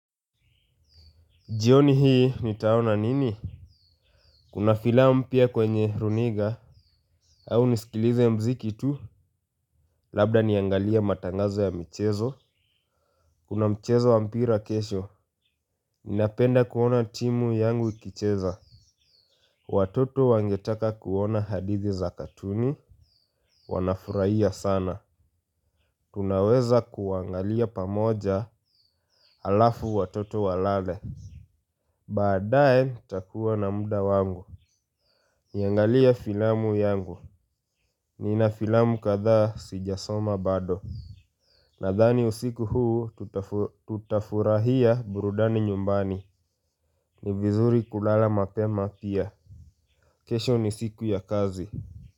Jioni hii nitaona nini? Kuna filamu pia kwenye runinga. Au nisikilize muziki tu. Labda niangalie matangazo ya michezo. Kuna mchezo wa mpira kesho. Ninapenda kuona timu yangu ikicheza. Watoto wangetaka kuona hadithi za katuni. Wanafurahia sana. Tunaweza kuangalia pamoja halafu watoto walale. Baadae takua na muda wangu. Niangalie filamu yangu. Nina filamu kadhaa sijasoma bado. Nadhani usiku huu tutafurahia burudani nyumbani. Ni vizuri kulala mapema pia. Kesho ni siku ya kazi.